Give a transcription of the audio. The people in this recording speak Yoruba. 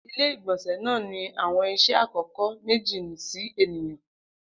Ile-igbọnsẹ naa ni awọn iṣẹ akọkọ meji si eniyan